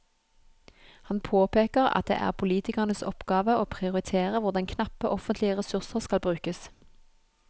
Han påpeker at det er politikernes oppgave å prioritere hvordan knappe offentlige ressurser skal brukes.